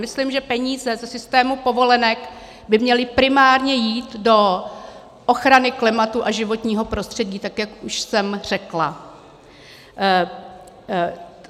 Myslím, že peníze ze systému povolenek by měly primárně jít do ochrany klimatu a životního prostředí, tak jak už jsem řekla.